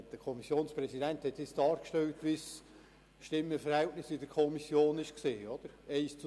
Der Kommissionspräsident hat nun dargestellt, wie das Stimmenverhältnis in der Kommission war: 1 zu 7 zu